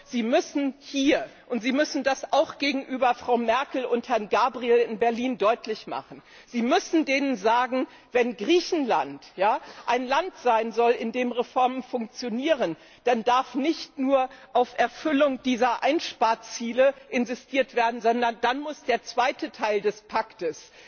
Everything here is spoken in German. Sie müssen hier sagen und Sie müssen das auch gegenüber Frau Merkel und Herrn Gabriel in Berlin deutlich machen Wenn Griechenland ein Land sein soll, in dem Reformen funktionieren, dann darf nicht nur auf Erfüllung dieser Einsparziele insistiert werden, sondern dann muss der zweite Teil des Pakts